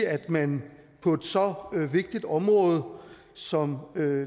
at man på så vigtigt et område som